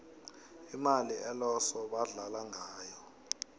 imali eloso badlala ngayo